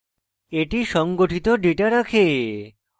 এটি সংগঠিত ডেটা রাখে